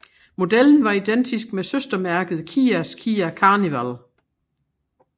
Modellen var identisk med søstermærket Kias Kia Carnival